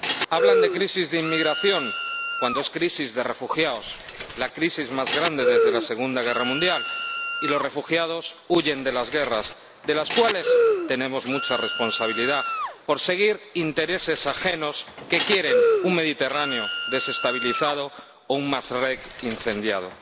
Hablan de crisis de inmigración cuando es crisis de refugiados ―la crisis más grande desde la Segunda Guerra Mundial―, y los refugiados huyen de las guerras, en las cuales tenemos mucha responsabilidad por seguir intereses ajenos que quieren un Mediterráneo desestabilizado o un Mashreq incendiado.